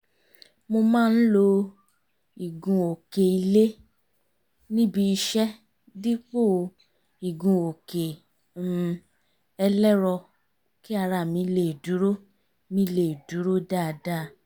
mo má ń lo ìgun-òkè ilé níbi iṣẹ́ dípò igun-òkè um ẹlẹ́rọ kí ara mi lè dúró mi lè dúró dáadáa